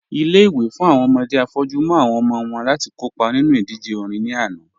Ilé-ìwé fún awọn ọmọdé afọ́jù mú awọn ọmọ wọn láti kọ́pa nínu idíjè orin ní ànà